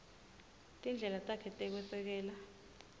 tindlela takhe tekwesekela